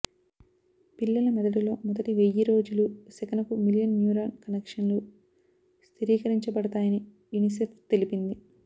పిల్లల మెదడులో మొదటి వెయ్యిరోజులు సెకనుకు మిలియన్ న్యూరాన్ కనెక్షన్లు స్థిరీకరించబడతాయని యునిసెఫ్ తెలిపింది